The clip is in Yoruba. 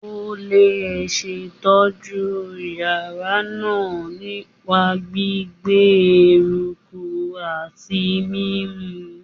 O le ṣetọju yara naa nipa gbigbe, eruku ati mimu